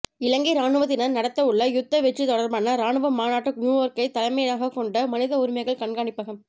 இலங்கை இராணுவத்தினர் நடத்தவுள்ள யுத்த வெற்றி தொடர்பான இராணுவ மாநாட்டை நியூயோர்க்கை தலைமையகமாக கொண்ட மனித உரிமைகள் கண்காணிப்பகம்